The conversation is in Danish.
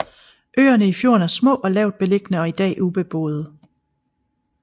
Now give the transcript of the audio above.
Øerne i fjorden er små og lavt beliggende og i dag ubeboede